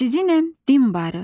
Əzizinəm, din barı.